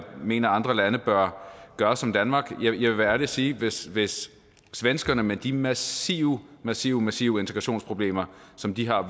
mener at andre lande bør gøre som danmark vil jeg være ærlig at sige hvis hvis svenskerne med de massive massive massive integrationsproblemer som de har